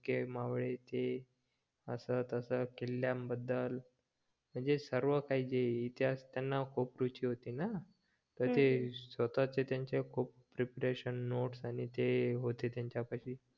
मावळे ते असं तसं किल्ल्यांबद्दल म्हणजे सर्व काही जे इतिहास त्यांना खूप रुची होती ना तर ते स्वतःचे त्यांचे खूप प्रेपरेशन नोट्स आणि होते त्यांच्यापाशी